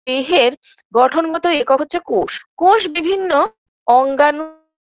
দেহের গঠনগত একক হচ্ছে কোষ কোষ বিভিন্ন অঙ্গানু